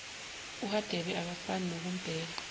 uhadebe akafuni nokumbheka